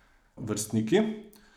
Vrstniki?